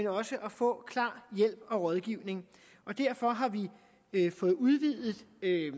også at få klar hjælp og rådgivning derfor har vi fået udvidet